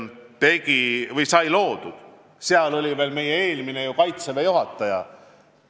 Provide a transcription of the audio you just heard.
Siis oli tegev veel meie eelmine Kaitseväe juhataja.